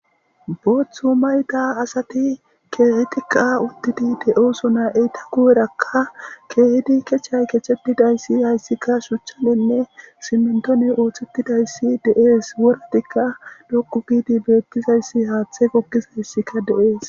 booththu mayda asati keehetikka udtidi de7oso na eyta kuwerakka keehedi kechay kechetidayssi hayssika shuchanenne simmentoni ooththettidayssi de7ees woratikka loqu giidi beettizayssi haaththe gokkizayssika de7ees